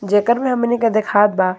जेकर में हमनी के देखात बा।